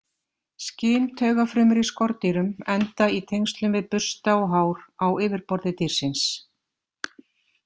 Skyntaugafrumur í skordýrum enda í tengslum við bursta og hár á yfirborði dýrsins.